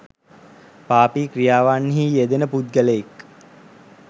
පාපි ක්‍රියාවන්හි යෙදෙන පුද්ගලයෙක්